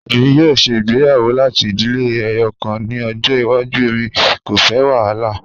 Emi yoo ṣe igbeyawo lati idile ẹyọkan ni ọjọ iwaju, emi ko fẹ wahala.